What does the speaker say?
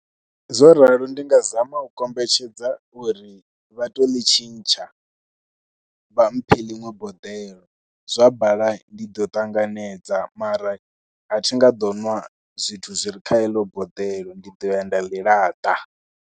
Zwo ralo ndi nga zama u kombetshedza uri vha tou ḽi tshintsha, vha mphe ḽiṅwe boḓelo. Zwa bala ndi ḓo ṱanganedza mara a thi nga ḓo nwa zwithu zwi re kha eḽo boḓelo ndi ḓo ya nda ḽi laṱa.